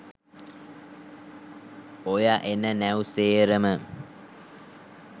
ඔය එන නැව් සේරම